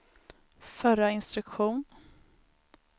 förra instruktion